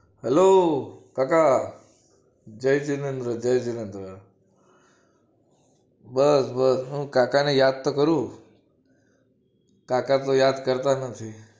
Hello કાકા જય જીનેન્દ્ર જય જીનેન્દ્ર બસ બસ કાકાને યાદતો કરું કાકા તો યાદ કરતા નથી